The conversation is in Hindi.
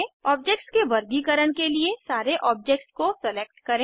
ऑब्जेक्ट्स के वर्गीकरण के लिए सारे ऑब्जेक्ट्स को सेलेक्ट करें